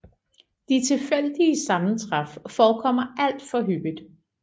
De tilfældige sammentræf forekommer alt for hyppigt